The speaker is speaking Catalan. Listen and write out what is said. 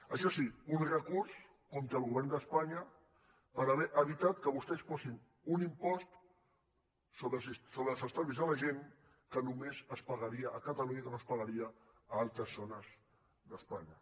això sí un recurs contra el govern d’espanya per haver evitat que vostès posin un impost sobre els estalvis de la gent que només es pagaria a catalunya i que no es pagaria a altres zones d’espanya